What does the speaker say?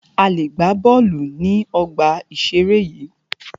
A lè gbà bọ́ọ̀lù ní ọgbà ìseré yìí